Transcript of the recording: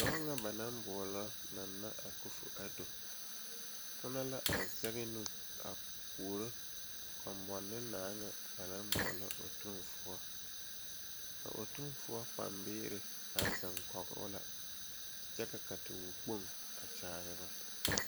Dɔɔ ane o pɔge ne ba biiri la be gɔdo zu a biiri eɛ bata kaŋa naŋ kaa bile lɛ kyɛ ka bayi eŋ a kyɛle bazaa.